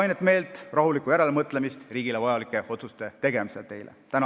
Kainet meelt ja rahulikku järelemõtlemist riigile vajalike otsuste tegemisel teile!